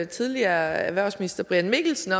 tidligere erhvervsminister brian mikkelsen